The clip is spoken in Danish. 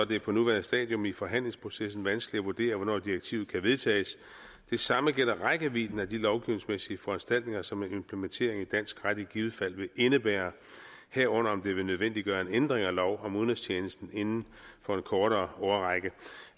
det er på nuværende stadium i forhandlingsprocessen vanskeligt at vurdere hvornår direktivet kan vedtages det samme gælder rækkevidden af de lovgivningsmæssige foranstaltninger som en implementering i dansk ret i givet fald vil indebære herunder om det vil nødvendiggøre en ændring af lov om udenrigstjenesten inden for en kortere årrække